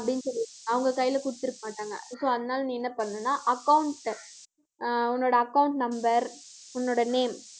அப்படின்னு சொல்லி அவங்க கையிலே கொடுத்திருக்க மாட்டாங்க so அதனால நீ என்ன பண்ணணும்னா account அஹ் உன்னோட account number உன்னோட name